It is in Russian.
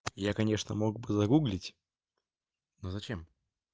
я конечно мог бы загуглить но зачем